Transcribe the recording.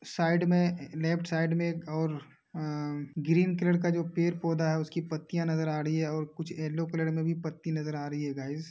Side में ए left side में एक और अं ग्रीन कलर का जो पेड़ पौधा है उसकी पत्तियां नजर आ रही हैं और कुछ येलो कलर में भी पत्ती नजर आ रही है गाइज़ ।